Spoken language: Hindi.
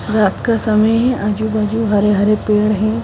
रात का समय है आजू बाजू हरे हरे पेड़ हैं।